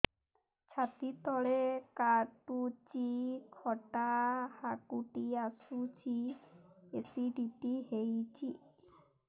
ଛାତି ତଳେ କାଟୁଚି ଖଟା ହାକୁଟି ଆସୁଚି ଏସିଡିଟି ହେଇଚି